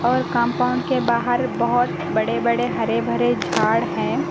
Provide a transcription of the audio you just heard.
और कंपाउंड के बाहर बहोत बड़े बड़े हरे भरे झाड़ हैं।